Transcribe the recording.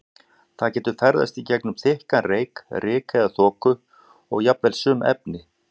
Það getur ferðast í gegnum þykkan reyk, ryk eða þoku og jafnvel sum efni.